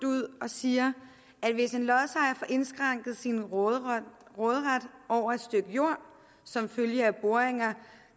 ud og siger at hvis en lodsejer får indskrænket sin råderet over et stykke jord som følge af boringer